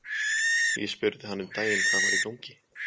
Ég spurði hann um daginn hvað væri í gangi?